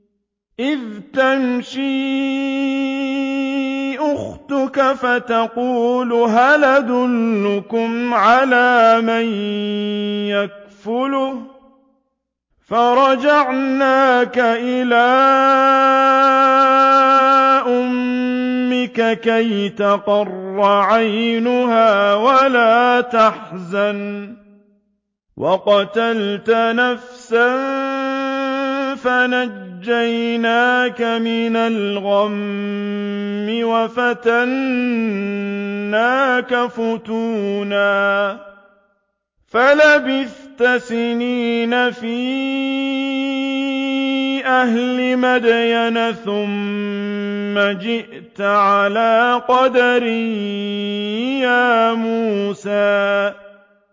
إِذْ تَمْشِي أُخْتُكَ فَتَقُولُ هَلْ أَدُلُّكُمْ عَلَىٰ مَن يَكْفُلُهُ ۖ فَرَجَعْنَاكَ إِلَىٰ أُمِّكَ كَيْ تَقَرَّ عَيْنُهَا وَلَا تَحْزَنَ ۚ وَقَتَلْتَ نَفْسًا فَنَجَّيْنَاكَ مِنَ الْغَمِّ وَفَتَنَّاكَ فُتُونًا ۚ فَلَبِثْتَ سِنِينَ فِي أَهْلِ مَدْيَنَ ثُمَّ جِئْتَ عَلَىٰ قَدَرٍ يَا مُوسَىٰ